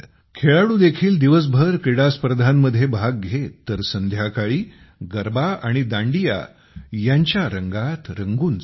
खेळाडू देखील दिवसभर क्रीडास्पर्धांमध्ये भाग घेत तर संध्याकाळी गरबा आणि दांडिया यांच्या रंगात रंगून जात